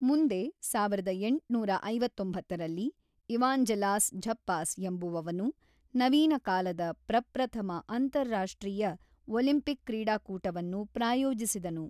ಮುಂದೆ ಸಾವಿರದ ಎಂಟುನೂರ ಐವತ್ತೊಂಬತ್ತರಲ್ಲಿ ಇವಾಂಜೆಲಾಸ್ ಝಪ್ಪಾಸ್ ಎಂಬುವವನು ನವೀನಕಾಲದ ಪ್ರಪ್ರಥಮ ಅಂತರರಾಷ್ಟ್ರೀಯ ಒಲಿಂಪಿಕ್ ಕ್ರೀಡಾಕೂಟವನ್ನು ಪ್ರಾಯೋಜಿಸಿದನು.